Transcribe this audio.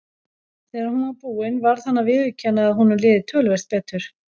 Þegar hún var búin varð hann að viðurkenna að honum liði töluvert betur.